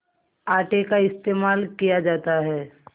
आटे का इस्तेमाल किया जाता है